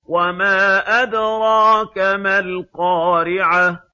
وَمَا أَدْرَاكَ مَا الْقَارِعَةُ